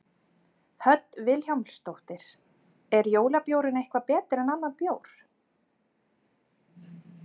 Hödd Vilhjálmsdóttir: Er jólabjórinn eitthvað betri en annar bjór?